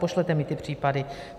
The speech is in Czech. Pošlete mi ty případy.